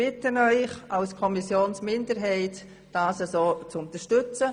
Als Kommissionsminderheit bitten wir Sie, unseren Antrag zu unterstützen.